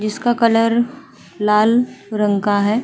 जिसका कलर लाल रंग का है।